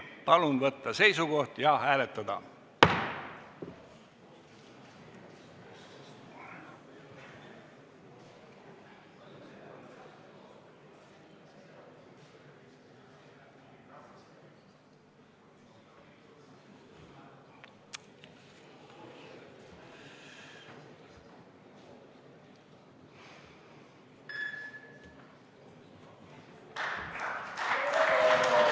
Palun võtta seisukoht ja hääletada!